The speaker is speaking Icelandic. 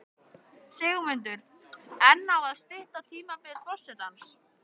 Sigmundur: En á að stytta tímabil forsetans?